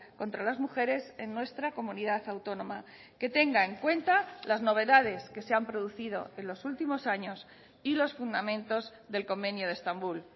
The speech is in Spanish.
contra las mujeres en nuestra comunidad autónoma que tenga en cuenta las novedades que se han producido en los últimos años y los fundamentos del convenio de estambul